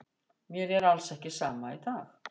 Mér er alls ekki sama í dag.